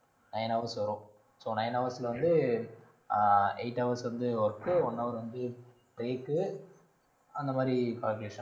nine hours வரும் so nine hours ல வந்து, ஆஹ் eight hours வந்து work உ one hour வந்து break உ, அந்த மாதிரி calculation